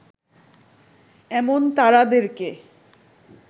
এমন তারাদেরকে